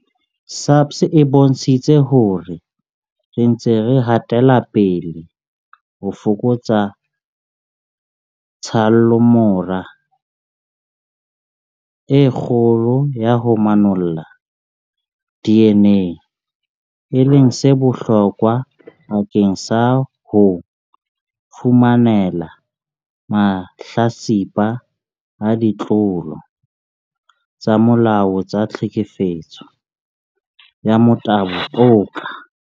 SAPS e bontshitse hore re ntse re hatela pele ho fokotsa tshallomora e kgolo ya ho manolla DNA, e leng se bohlokwa bakeng sa ho fumanela mahlatsipa a ditlolo tsa molao tsa tlhekefetso ya motabo toka.